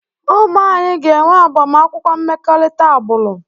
Ụmụ anyị ga-enwe agbamakwụkwọ mmekọrịta agbụrụ.